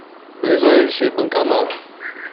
ближайший банкомат